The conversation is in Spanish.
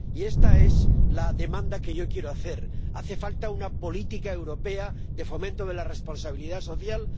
Y esta es la demanda que yo quiero hacer hace falta una política europea de fomento de la responsabilidad social